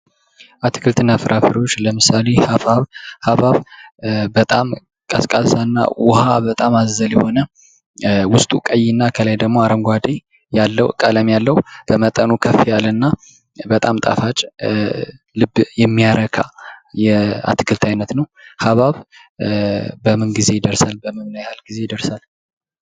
አትክልትና ፍራፍሬዎች፦ ለምሳሌ ሀብሀብ፦ ሀብሀብ በጣም ውሀ በጣም አዘል የሆነ ውስጡ ቀይ ከላይ ደግሞ አረንጓዴ ያለው ቀለም ያለ በመጠኑ ከፍ ያለ እና በጣም ጣፋጭ ልብ የሚታረካ የአትክልት አይነት ነው። ሀብሀብ በምን ጊዜ ይደርሳል? በምን ያህል ጊዜ ይደርሳል?